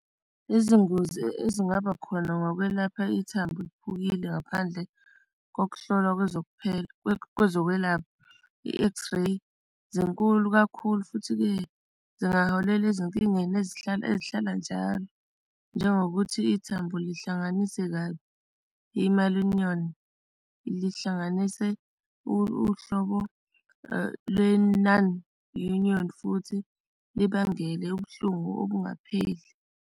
Izingozi ezingaba khona ngokwelapha ithambo eliphukile ngaphandle kokuhlolwa kwezokuphepha kwezokwelapha i-x-ray zinkulu kakhulu, futhi-ke zingaholela ezinkingeni ezihlala, ezihlala njalo. Njengokuthi ithambo lihlanganise kabi i-malunion, lihlanganise uhlobo lwe-nonunion, futhi libangele ubuhlungu okungapheli.